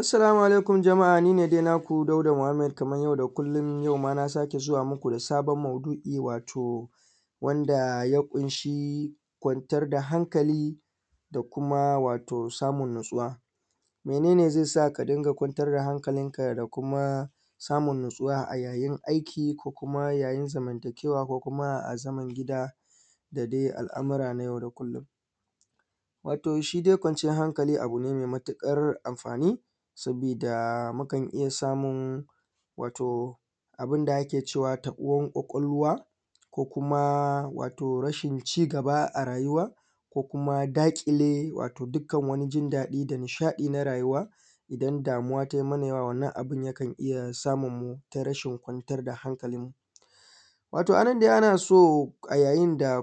Assalamu alaikum jama’a ni ne dai nako Dauda Muhammad wanda kuka sani yau dai kamar kullon yauma na ƙara zuwa muku da wani maudu’i wanda ya ƙunshi kwantar da hankali da kuma samun natsuwa. Mene ne ze sa ka dinga kwantar da hankali da samun natsuwa a yayin aiki ko kuma yayin zantakewa ko kuma a zaman gida da dai al’amura na yau da kullon? Wato shidai kwanciyan hankali abu ne me matuƙar anfani sabida mukan iya samun abunda ake ce ma taɓuwan kwakwalwa ko kuma rashin cigaba a rayuwa ko kuma daƙile dukkan jin daɗi da nishaɗi na rayuwa. Idan damuwa ta yi mana yawa abin yakan iya samun rashin kwanciyan hankalinmu, wato a nan dai naso a yayin da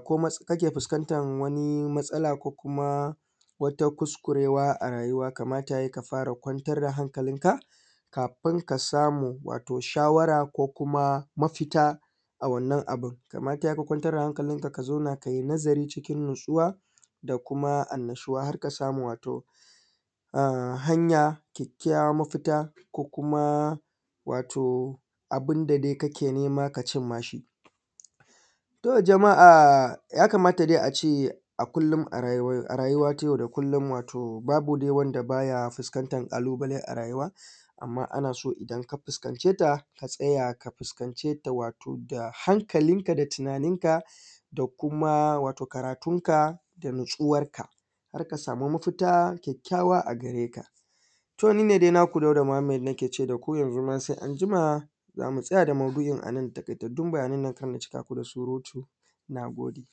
kake fuskantan wani matsala ko kuma wata kuskurewa a rayuwa, kamata ya yi ka kwantar da hankalinka kafin ka samu wato shawara ko kuma mafita a wannan abun kamar ya yi ka kwantar da hankalinka, ka zauna kai nazari na natsuwa da kuma annashuwa wato hanya kyakykyawan mafita kuma wato abin da ake nema, ka cimmawa. To, jama’a ya kamata dai a ce a rayuwa ta yau da kullon babu wani wanda ba ya fuskantan ƙalubale rayuwa, amma ana so idan ka fuskance ta ka tsaya, ka fuskance ta hankalinka da tunaninka da kuma karatunka da natsuwanka har ka samu mafita a gare ka. To, ni ne dai naku Dauda Muhammad nake ce da ku yanzu ma se an jima za mu tsaya da maudu’in a nan da taƙaitattun bayanan na kar in cika ku da surutu sai an jima.